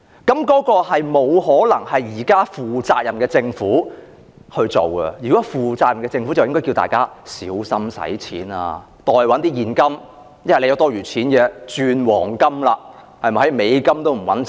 這不可能是負責任的政府所做的事，如果是負責任的政府，應該叫大家小心花費，持有現金，若有多餘錢便轉換為黃金，因為現時連美元也不穩了。